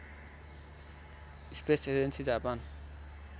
space agency Japan